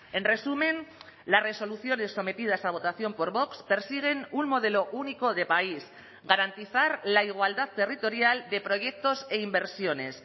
en resumen las resoluciones sometidas a votación por vox persiguen un modelo único de país garantizar la igualdad territorial de proyectos e inversiones